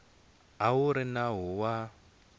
a wu ri nawu wa